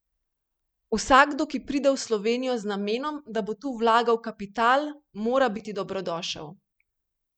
Vsakdo, ki pride v Slovenijo z namenom, da bo tu vlagal kapital, mora biti dobrodošel.